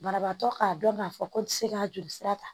Banabaatɔ k'a dɔn k'a fɔ ko n tɛ se ka joli sira ta